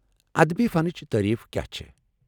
ادبی فنچ تعریف کیاہ چھےٚ؟